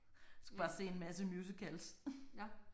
Skulle bare se en masse musicals